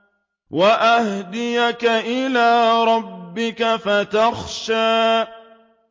وَأَهْدِيَكَ إِلَىٰ رَبِّكَ فَتَخْشَىٰ